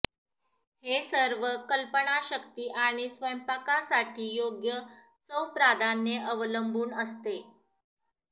हे सर्व कल्पनाशक्ती आणि स्वयंपाकासाठी योग्य चव प्राधान्ये अवलंबून असते